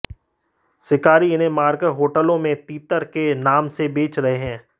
शिकारी इन्हें मारकर होटलों में तीतर के नाम से बेच रहे हैं